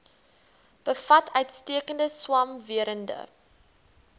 bevat uitstekende swamwerende